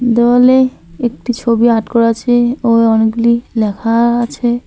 দেওয়ালে একটি ছবি আট করা আছে ও অনেকগুলি ল্যাখা আছে।